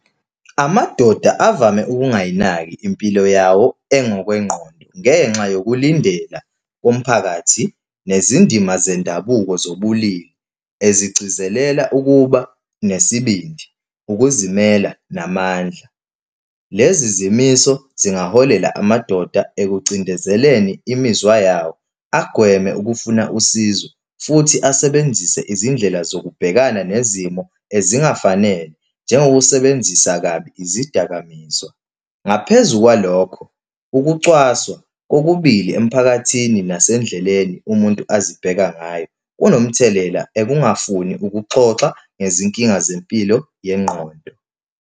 Amadoda avame ungayinaki impilo yawo engokwengqondo, ngenxa yokulindela komphakathi nezindima zendabuko zobulili ezigcizelela ukuba nesibindi, ukuzimela, namandla. Lezi zimiso zingaholela amadoda ekucindezelekeni imizwa yabo, agweme ukufuna usizo, futhi asebenzise izindlela zokubhekana nezimo ezingafanele, njengokusebenzisa kabi izidakamizwa. Ngaphezu kwalokho, ukucwaswa kokubili emphakathini nasendleleni umuntu azibheke ngayo kunomthelela ekungafuna ukuxoxa ngezinkinga zempilo yengqondo.